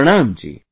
Pranam ji